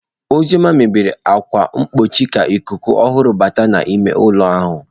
Uzoma meghere ákwà mgbochi ka ikuku ọhụrụ bata n'ime ụlọ ahụ.